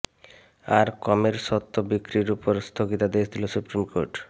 আর কমের সত্ত্ব বিক্রির ওপর স্থগিতাদেশ দিল সুপ্রিম কোর্ট